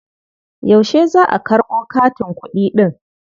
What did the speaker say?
Yaushe za ka karɓo katin kuɗi ɗin?